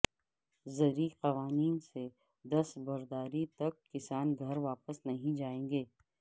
زرعی قوانین سے دستبرداری تک کسان گھر واپس نہیں جائیں گے